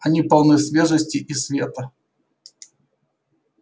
они полны свежести и света